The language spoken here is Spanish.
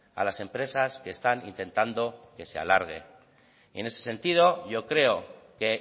a las empresas que están intentando que se alargue y en ese sentido yo creo que